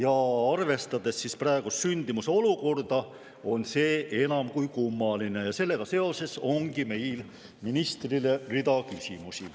Kui arvestada praeguse sündimuse olukorda, on see enam kui kummaline ja sellega seoses ongi meil ministrile rida küsimusi.